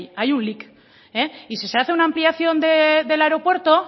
ahí y si se hace una ampliación del aeropuerto